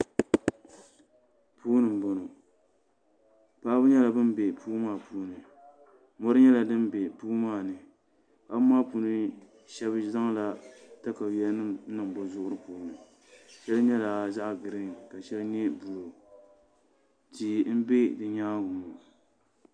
puuni n-bɔŋɔ paɣaba nyɛla ban n-be puu maa puuni mɔri nyɛla din be puu maa ni paɣaba maa puuni shɛba nyɛla ban zaŋ takayuyanima n-niŋ bɛ zuɣuri puuni shɛli nyɛla zaɣ'griin ka shɛli nyɛ buluu tia m-be nyaanga ŋɔ